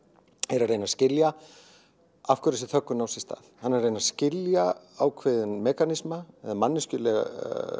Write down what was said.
er að reyna að skilja af hverju þessi þöggun á sér stað hann er að reyna að skilja ákveðinn mekanisma eða manneskjulega